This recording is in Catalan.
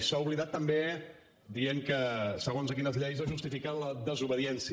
s’ha oblidat també dient que segons a quines lleis es justifica la desobediència